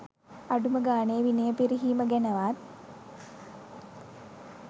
අඩුම ගානේ විනය පිරිහීම ගැනවත්